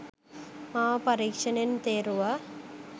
මාව පරීක්‍ෂණයෙන් තේරුවා